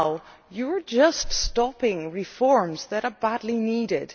present you are just stopping reforms that are badly needed.